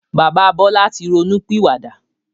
Bàbá Bọlá tí ronú pìwà dà.